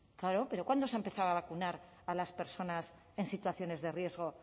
claro pero cuándo se ha empezado a vacunar a las personas en situaciones de riesgo